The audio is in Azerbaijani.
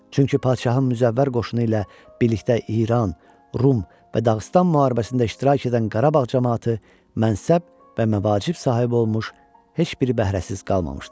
Çünki Padşahın müzəffər qoşunu ilə birlikdə İran, Rum və Dağıstan müharibəsində iştirak edən Qarabağ camaatı mənsəb və məvacib sahibi olmuş, heç bir bəhrəsiz qalmamışdı.